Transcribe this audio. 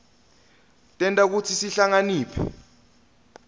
tenta kutsi sihlakaniphe